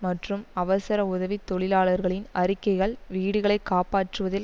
மற்றும் அவசர உதவி தொழிலாளர்களின் அறிக்கைகள் வீடுகளை காப்பாற்றுவதில்